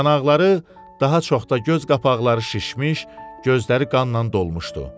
Yanaqları, daha çox da göz qapaqları şişmiş, gözləri qanla dolmuşdu.